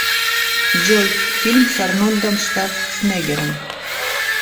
джой фильм с арнольдом шварцнеггером